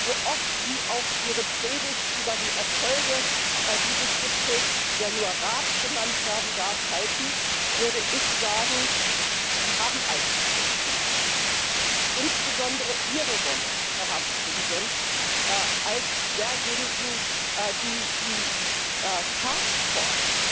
So oft Sie auch Ihre Predigt über die Erfolge dieses Gipfels, der nur Rat genannt werden darf, halten, würde ich sagen Sie haben eigentlich nichts geleistet. Insbesondere Ihre Rolle, Herr Ratspräsident, als desjenigen, der die Taskforce